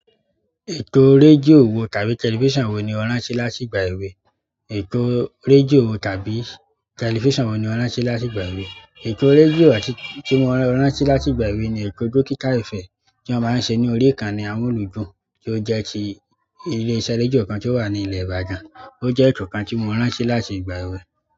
Ètò rédíò wo tàbí tẹlifísàn wo ni o rántí látìgbà èwe? Ètò rédíò tàbí tẹlifísàn wo ni o rán sí láti ìgbà èwe? Ètò rédíò àti tí mo rán sí láti ìgbà èwe ni ètò Dókítà Ifẹ̀ tí wọ́n máa ń ṣe ní orí ìkànnì Amúlùúdùn tí ó jẹ́ ti ilé iṣẹ́ rédíò kan tí ó wà ní ilẹ̀ Ibadan. Ó jẹ́ ètò kan tí mo rántí láti ìgbà èwe.